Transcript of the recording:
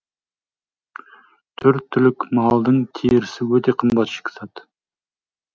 төрт түлік малдың терісі өте қымбат шикізат